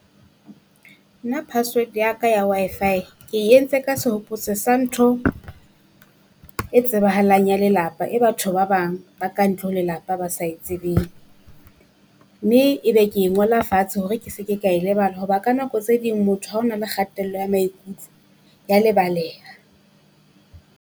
Nna password ya ka ya Wi-Fi ke e entse ka sehopotso sa ntho e tsebahalang ya lelapa. E batho ba bang ba ka ntle ho lelapa ba sa e tsebeng. Mme ebe ke e ngola fatshe hore ke se ke ka e lebala hoba ka nako tse ding motho ha o na le kgatello ya maikutlo ya lebaleha.